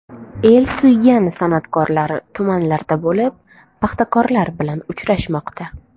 El suygan san’atkorlar tumanlarda bo‘lib, paxtakorlar bilan uchrashmoqda.